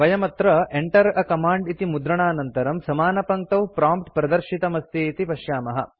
वयम् अत्र Enter a command इति मुद्रणानन्तरं समानपङ्क्तौ प्रॉम्प्ट् प्रदर्शितमस्ति इति पश्यामः